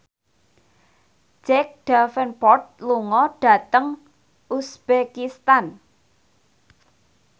Jack Davenport lunga dhateng uzbekistan